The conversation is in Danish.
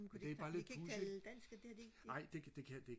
men kunne de ikke bare de kan ikke tale dansk det har de ikke